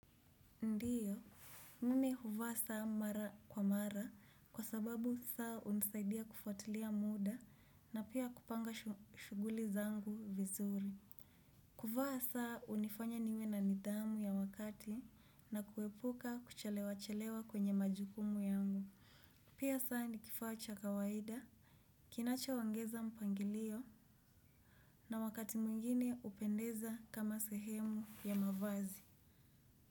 Ndiyo, mimi huvaa saa mara kwa mara kwa sababu saa hunisaidia kufatulia muda na pia kupanga shuguli zangu vizuri. Kuvaa saa hunifanya niwe na nidhamu ya wakati na kuepuka kuchelewa chelewa kwenye majukumu yangu. Pia saa nikifacha kawaida, kinacho ongeza mpangilio na wakati mwingine hupendeza kama sehemu ya mavazi.